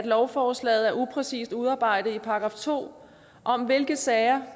lovforslaget er upræcist udarbejdet i § to om hvilke sager